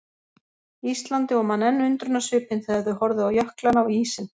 Íslandi og man enn undrunarsvipinn þegar þau horfðu á jöklana og ísinn.